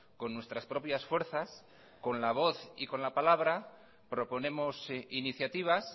con nuestras propias fuerzas con la voz y con a la palabra proponemos iniciativas